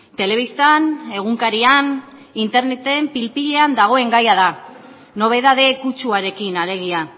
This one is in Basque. telebistan egunkarian interneten pil pilean dagoen gaia da nobedade kutsuarekin alegia